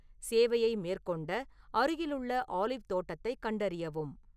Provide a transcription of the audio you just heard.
சேவையை மேற்கொண்ட அருகிலுள்ள ஆலிவ் தோட்டத்தைக் கண்டறியவும்